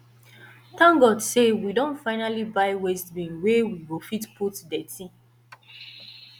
thank god say we don finally buy waste bin where we go fit put dirty